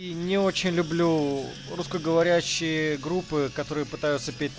не очень люблю русскоговорящие группы которые пытаются